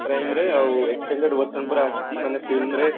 prime ରେ ଆଉ extended version ପରା ଆସିଛି ମାନେ film ରେ